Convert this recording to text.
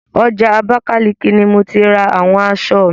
Ọjà Abákáliki ni mo ti ra àwọn aṣọ mi.